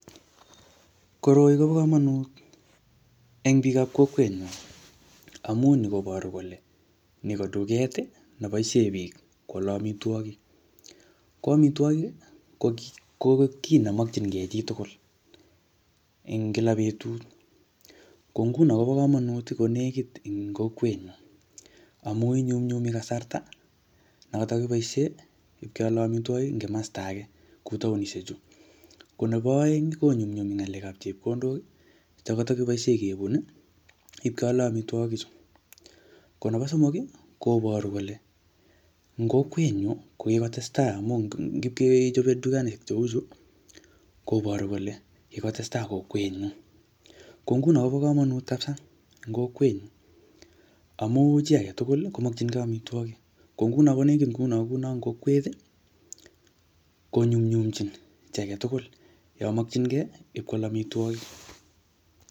Koroi kobo komonut eng biikab kokwet nyu, amu ni koboru kole ni ko duket, ne boisie koale amitwogik. Ko amitwogik, ko kit, ko kiy ne makchinkey chitugul eng kila betut. Ko nguno kobo komonut ko nekit eng kokwet ngung, amu inyumnyumi kasrata, ne katakiboisie ipkeale amitwogik ing kimasta age kou taunishek chu. Ko nebo aeng, konyumnyumi ngalekab chepkondok che katakiboisie kebun ipkeale amitwogik chu. Ko nebo somok, koboru kole ing kokwet nyu, ko kikotetsai amu ngipkechope dukani cheu chuu, koboru kole kikotestai kokwet ng'ung. Ko nguno kobo komonut kapsaa eng kokwet amu chi agetugul komokchnkey amtwogik. Ko nguno konetik nguno kuno eng kokwet, konyumnyumchin chi agetugul yamakchinkey ipkwal amitwogik.